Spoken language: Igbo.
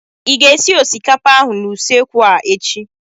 Ị ga-esi osikapa ahụ n'usekwu a echi?